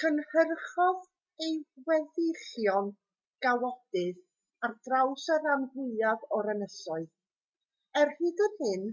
cynhyrchodd ei weddillion gawodydd ar draws y rhan fwyaf o'r ynysoedd er hyd yn hyn